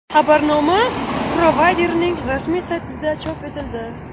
Xabarnoma provayderning rasmiy saytida chop etildi .